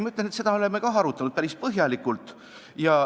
Ma ütlen, et seda me oleme ka arutanud päris põhjalikult.